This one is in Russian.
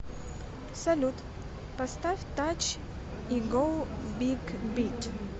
салют поставь тач и гоу биг бит